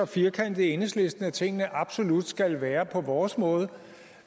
firkantede i enhedslisten at tingene absolut skal være på vores måde